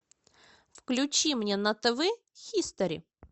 включи мне на тв хистори